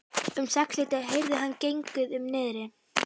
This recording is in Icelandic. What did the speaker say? Um sexleytið heyrði hann gengið um niðri.